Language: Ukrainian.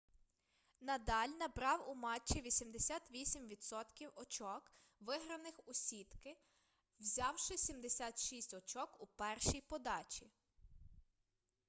надаль набрав у матчі 88% очок виграних у сітки взявши 76 очок у першій подачі